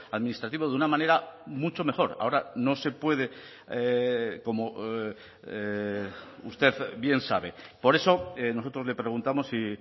administrativo de una manera mucho mejor ahora no se puede como usted bien sabe por eso nosotros le preguntamos si